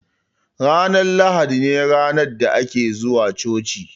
Ranar lahadi ne ranar da ake zuwa coci